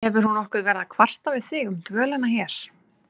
Hefur hún nokkuð verið að kvarta við þig um dvölina hér?